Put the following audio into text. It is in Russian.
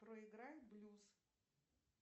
проиграй блюз